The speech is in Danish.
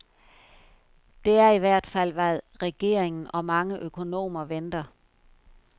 Det er i hvert fald, hvad regeringen og mange økonomer venter.